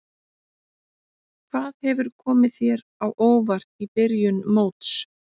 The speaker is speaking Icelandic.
Hvað hefur komið þér á óvart í byrjun móts?